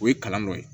O ye kalan dɔ ye